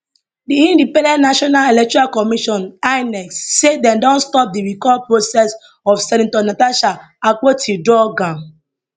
di independent national electoral commission inec say dem don stop di recall process of senator natasha akpotiuduaghan